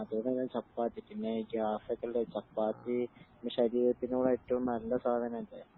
അതേപോലെ തന്നെ ചപ്പാത്തി പിന്നെ ഗ്യാസക്കെ ഉള്ളാര് പിന്നെ ചപ്പാത്തി ശരീരത്തിനോട് ഏറ്റവും നല്ല സാധനം അല്ലെ